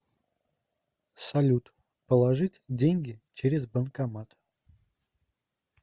салют положить деньги через банкомат